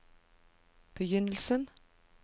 begynnelsen